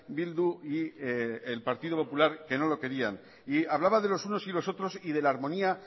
bildu y el partido popular que no lo querían y hablaba de los unos y los otros y de la armonía